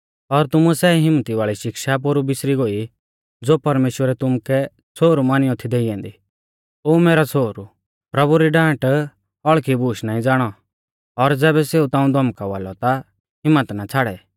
और तुमुऐ सै हिम्मती वाल़ी शिक्षा पोरु बिसरी गोई ज़ो परमेश्‍वरै तुमुकै छ़ोहरु मानियौ थी देई ऐन्दी ओ मैरौ छ़ोहरु प्रभु री डांट हौल़खी बूश नाईं ज़ाणौ और ज़ैबै सेऊ ताऊं धौमकावा लौ ता हिम्मत ना छ़ाड़ै